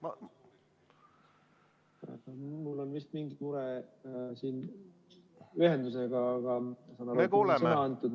Ma vaatan, et mul on vist mingi mure siin ühendusega, aga mulle on ikkagi sõna antud.